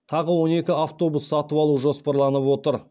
тағы он екі автобус сатып алу жоспарланып отыр